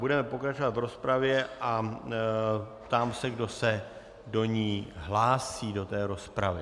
Budeme pokračovat v rozpravě a ptám se, kdo se do ní hlásí, do této rozpravy.